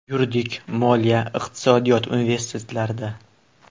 Yuridik, Moliya, Iqtisodiyot universitetlarida.